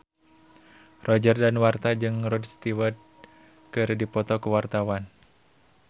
Roger Danuarta jeung Rod Stewart keur dipoto ku wartawan